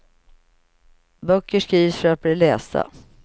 Böcker skrivs för att bli lästa.